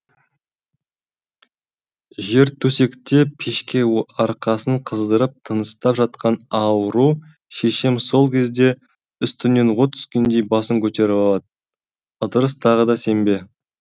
жер төсекте пешке арқасын қыздырып тыныстап жатқан ауру шешем сол кезде үстіне от түскендей басын көтеріп алады ыдырыс тағы да сен бе